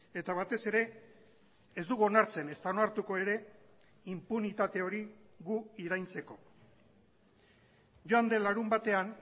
eta batez ere ez dugu onartzen ezta onartuko ere inpunitate hori gu iraintzeko joan den larunbatean